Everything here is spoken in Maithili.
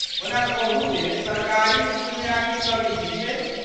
ओना कहू जे सरकारी इसकुलमे आखिर कमी की छै?